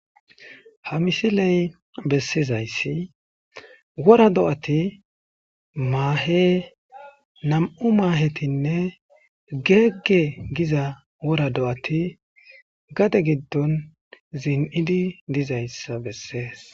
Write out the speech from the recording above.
ha misiley bessizayssi wora do7ati maahe nam7u maahetinne geegge giza wora do7ati gade giddon zin7idi dizayssa bessees